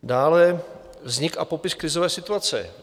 Dále vznik a popis krizové situace.